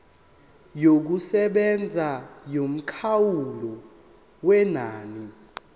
yokusebenza yomkhawulo wenani